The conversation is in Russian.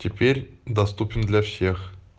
теперь доступен для всех